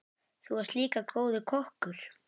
Þú varst líka góður kokkur.